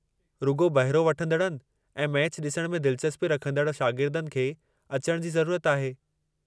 रुॻो बहिरो वठंदड़नि ऐं मैचु ॾिसण में दिलचस्पी रखंदड़ शागिर्दनि खे अचणु जी ज़रूरत आहे।